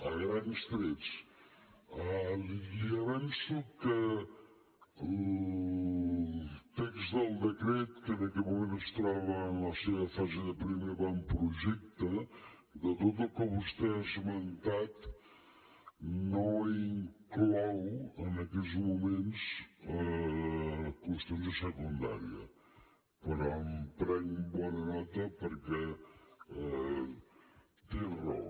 a grans trets li avenço que el text del decret que en aquest moment es troba en la seva fase de primer avantprojecte de tot el que vostè ha esmentat no inclou en aquests moments qüestions de secundària però en prenc bona nota perquè té raó